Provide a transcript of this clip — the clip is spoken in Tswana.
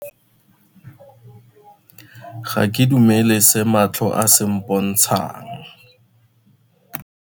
Ga ke dumele se matlho a se mpontshang.